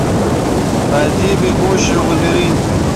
найди бегущий в лабиринте